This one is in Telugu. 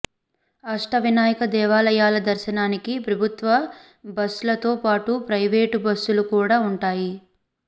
అష్ట వినాయక దేవాలయాల దర్శనకు ప్రభుత్వ బస్ లతో పాటు ప్రయివేటు బస్సులు కూడా ఉంటాయి